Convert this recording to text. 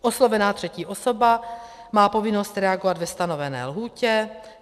Oslovená třetí osoba má povinnost reagovat ve stanovené lhůtě.